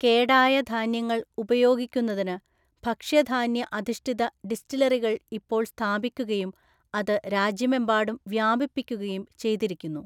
കേടായ ധാന്യങ്ങൾ ഉപയോഗിക്കുന്നതിന് ഭക്ഷ്യധാന്യ അധിഷ്ഠിത ഡിസ്റ്റിലറികൾഇപ്പോൾ സ്ഥാപിക്കുകയും അത് രാജ്യമെമ്പാടും വ്യാപിപ്പിക്കുകയും ചെയ്തിരിക്കുന്നു.